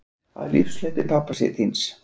Af lífshlaupi pabba þíns